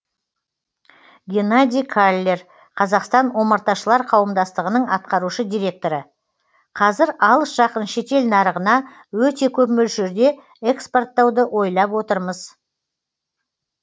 геннадий каллер қазақстан омарташылар қауымдастығының атқарушы директоры қазір алыс жақын шетел нарығына өте көп мөлшерде экспорттауды ойлап отырмыз